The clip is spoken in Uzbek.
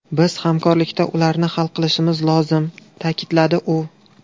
Biz hamkorlikda ularni hal qilishimiz lozim”, ta’kidladi u.